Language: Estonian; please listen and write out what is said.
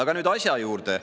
Ja nüüd asja juurde.